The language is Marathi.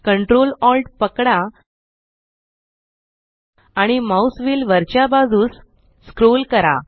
ctrl alt पकडा आणि माउस व्हील वरच्या बाजूस स्क्रोल करा